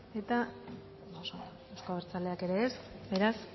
eta euzko abertzaleak ere ez beraz